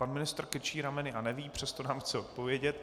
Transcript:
Pan ministr krčí rameny a neví, přesto nám chce odpovědět.